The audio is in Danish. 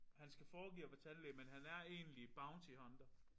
Han skal foregive at være tandlæge men han er egentlig bounty hunter